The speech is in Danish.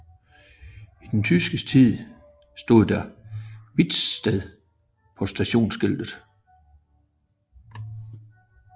I den tyske tid stod der Wittstedt på stationsskiltet